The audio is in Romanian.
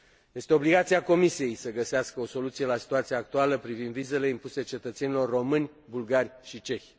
Este obligația Comisiei să găsească o soluție la situația actuală privind vizele impuse cetățenilor români, bulgari și cehi.